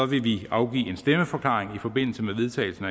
vil vi afgive en stemmeforklaring i forbindelse med vedtagelsen